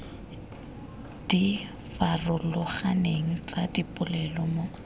di farologaneng tsa dipolelo mo